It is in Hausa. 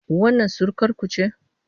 Wannan surukarku ce?